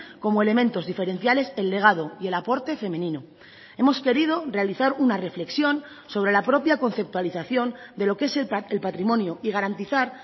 como elementos diferenciales el legado y el aporte femenino hemos querido realizar una reflexión sobre la propia conceptualización de lo que es el patrimonio y garantizar